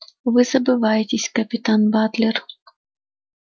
вы забываетесь капитан батлер